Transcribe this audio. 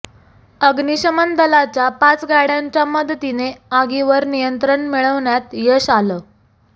अग्निशमन दलाच्या पाच गाड्यांच्या मदतीने आगीवर नियंत्रण मिळवण्यात यश आलं